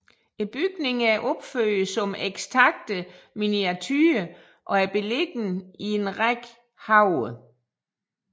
Bygningerne er opført som ekstakte miniaturer og er beliggende i en række haver